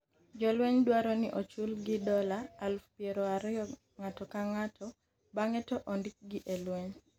Jolweny dwaro ni ochulgi dola aluf piero ariyo ng'ato ka ng'ato bang'e to ondik gi e lweny